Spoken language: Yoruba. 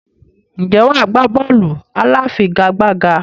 Ǹjẹ́ wà á gbá bọ́ọ̀lù aláfigigbá?